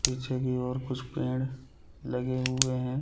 पीछे की और कुछ पेड़ लगे हुए है।